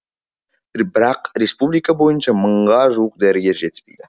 бірақ республика бойынша мыңға жуық дәрігер жетіспейді